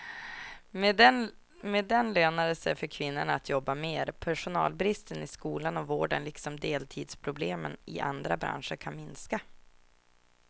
Med den lönar det sig för kvinnorna att jobba mer, personalbristen i skolan och vården liksom deltidsproblemen i andra branscher kan minska.